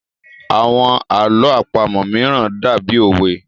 Àwọn àlọ́ àpamọ̀ mìíràn dàbí òwe